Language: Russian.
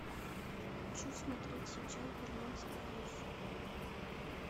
хочу смотреть сейчас берлинский блюз